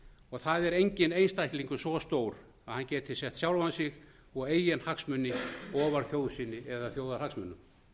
og það er engin einstaklingur svo stór að hann geti sett sjálfan sig og eigin hagsmuni ofar þjóð sinni eða þjóðarhagsmunum